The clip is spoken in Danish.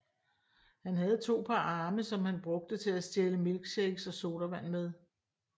Han havde to par arme som han brugte til at stjæle milkshakes og sodavand med